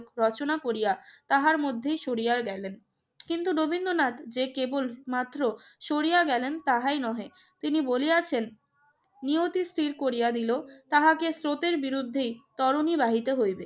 রচনা করিয়া তাহার মধ্যেই সরিয়া গেলেন। কিন্তু রবীন্দ্রনাথ যে কেবলমাত্র সরিয়া গেলেন তাহাই নহে। তিনি বলিয়াছেন, নিয়তি স্থির করিয়া দিল তাহাকে স্রোতের বিরুদ্ধেই তরণী বাহিতে হইবে।